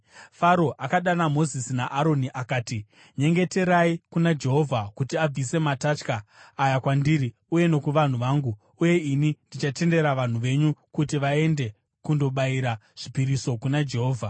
Faro akadana Mozisi naAroni akati, “Nyengeterai kuna Jehovha kuti abvise matatya aya kwandiri uye nokuvanhu vangu, uye ini ndichatendera vanhu venyu kuti vaende kundobayira zvipiriso kuna Jehovha.”